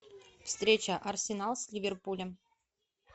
встреча арсенал с ливерпулем